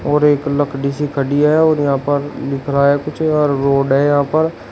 और एक लकड़ी सी खड़ी है और यहां पर लिख रहा है कुछ और रोड है यहां पर।